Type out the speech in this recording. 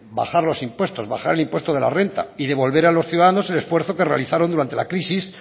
bajar los impuestos bajar el impuesto de la renta y devolver a los ciudadanos el esfuerzo que realizaron durante la crisis